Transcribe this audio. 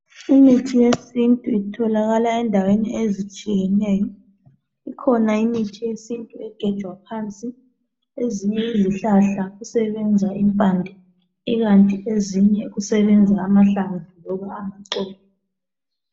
Imithi yesintu itholakala endaweni ezitshiyeneyo. Ikhona imithi yesintu egejwa phansi, ezinye izihlahla kusebenza impande ikanti ezinye kusebenza amahlamvu noma amaxolo.